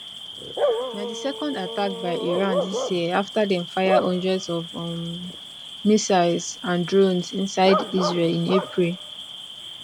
na di second attack by iran dis year afta dem fire hundreds of um missiles and drones inside israel in april